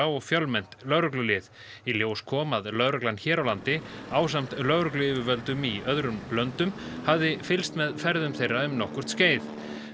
og fjölmennt lögreglulið í ljós kom að lögreglan hér á landi ásamt lögregluyfirvöldum í öðrum löndum hafði fylgst með ferðum þeirra um nokkurt skeið